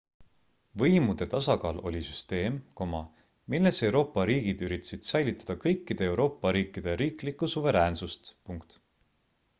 võimude tasakaal oli süsteem milles euroopa riigid üritasid säilitada kõikide euroopa riikide riiklikku suveräänssust